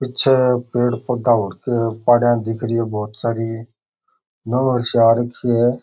पीछे पेड़ पोधा हो रखा है पहाड़िया दिख रही है बहुत सारी नौ चार आ रखी है।